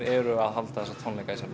eru að halda þessa tónleika í sjálfu